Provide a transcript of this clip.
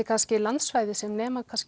kannski landsvæði sem nemur